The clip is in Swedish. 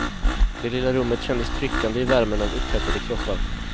Det lilla rummet kändes tryckande i värmen av upphettade kroppar.